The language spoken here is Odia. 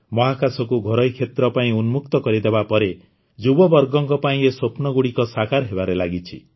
ମହାକାଶ କୁ ଘରୋଇ କ୍ଷେତ୍ର ପାଇଁ ଉନ୍ମୁକ୍ତ କରିଦେବା ପରେ ଯୁବବର୍ଗଙ୍କ ଏହି ସ୍ୱପ୍ନଗୁଡ଼ିକ ସାକାର ହେବାରେ ଲାଗିଛି